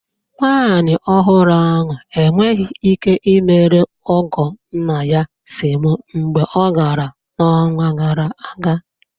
Nwanyị ọhụrụ ahụ enweghị ike imere ọgọ nna ya semo mgbe ọ gara n'ọnwa gara aga